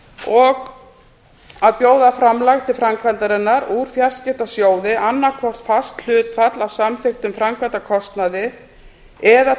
og að bjóða framlag til framkvæmdarinnar úr fjarskiptasjóði annaðhvort fast hlutfall af samþykktum framkvæmdakostnaði eða